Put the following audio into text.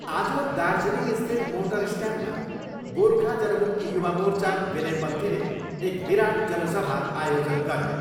आज दार्जीलिङस्थित मोटर स्टयान्डमा गोर्खा जनमुक्ति युवा मोर्चा विनयपन्थीले एक विराट जनसभा आयोजन गर्यो।